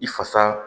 I fasa